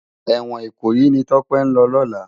Èwòn Ikoyi ni Tope n lò lòlá